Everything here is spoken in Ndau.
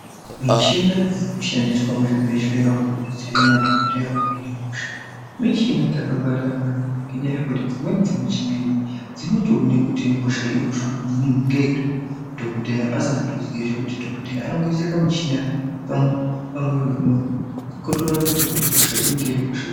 Michina dziri kushandiswa muzvibhedhleya umu kubetsera madhogodheya kuhina hosha. Michina dzakangwarira maningi ngenyaya yekuti dzimweni dzemichina idzi dzinotoone kuti hosha iri kufamba ngeiri dhogodheya asi ngatoziye. Ngekuti dhogodheya anongoisa kamuchina pamwiri vemuntu kotoratidze kuti hosha iyi ingange iri hosha iri.